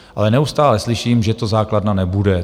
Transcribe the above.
Ale neustále slyším, že to základna nebude.